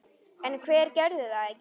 En hver gerði það ekki?